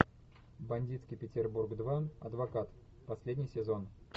бандитский петербург два адвокат последний сезон